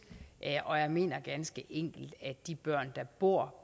og jeg mener ganske enkelt at de børn der bor